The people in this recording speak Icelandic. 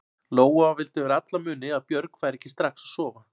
Lóa vildi fyrir alla muni að Björg færi ekki strax að sofa.